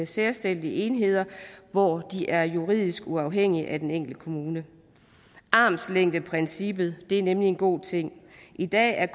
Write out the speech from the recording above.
selvstændige enheder hvor de er juridisk uafhængige af den enkelte kommune armslængdeprincippet er nemlig en god ting i dag er